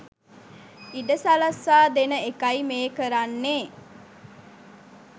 ඉඩ සලස්වා දෙන එකයි මේ කරන්නේ